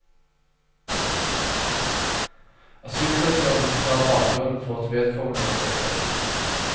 Asylsøkeren må forklare bakgrunnen for at vedkommende søker asyl.